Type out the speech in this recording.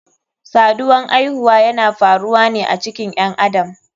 Saduwan aihuwa yana faruwane a cikin ƴen adam.